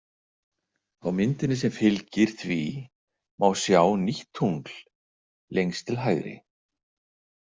Á myndinni sem fylgir því má sjá nýtt tungl lengst til hægri.